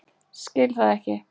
Skil það ekki.